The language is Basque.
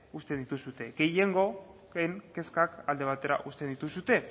uzten dituzue gehiengoen kezka alde batera uzten dituzue